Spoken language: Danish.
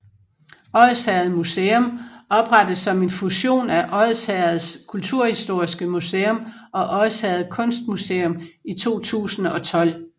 Odsherred Museum oprettet som en fusion af Odsherreds Kulturhistoriske Museum og Odsherred Kunstmuseum i 2012